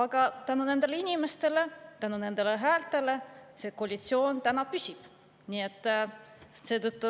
Aga tänu nendele inimestele, tänu nendele häältele see koalitsioon täna püsib.